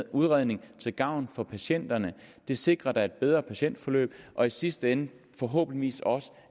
udredning til gavn for patienterne det sikrer da et bedre patientforløb og i sidste ende forhåbentlig også